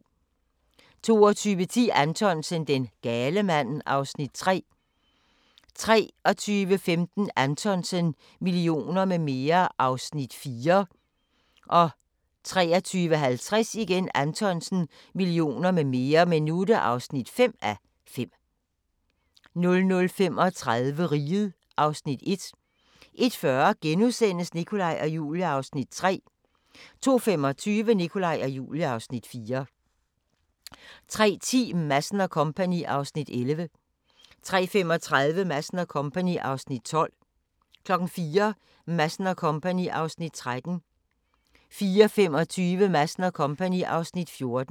22:10: Anthonsen - Den gale mand (3:5) 23:15: Anthonsen - Millioner med mere (4:5) 23:50: Anthonsen - Millioner med mere (5:5) 00:35: Riget (Afs. 1) 01:40: Nikolaj og Julie (Afs. 3)* 02:25: Nikolaj og Julie (Afs. 4) 03:10: Madsen & Co. (Afs. 11) 03:35: Madsen & Co. (Afs. 12) 04:00: Madsen & Co. (Afs. 13) 04:25: Madsen & Co. (Afs. 14)